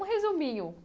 Um resuminho.